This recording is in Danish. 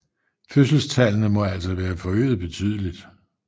Fødselstallene må altså være forøget betydeligt